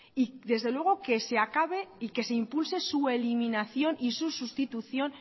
y desde luego que se acabe y que se impulse su eliminación y su sustitución